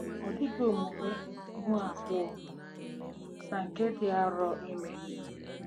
Ọ dịghị omume ihu abụọ na nke dị arọ ime